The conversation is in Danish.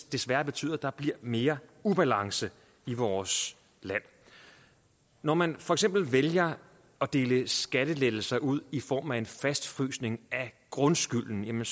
desværre betyder at der bliver mere ubalance i vores land når man for eksempel vælger at dele skattelettelser ud i form af en fastfrysning af grundskylden